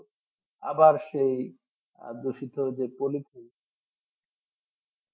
আবার সেই আদ্যসিথ যে পলিথিন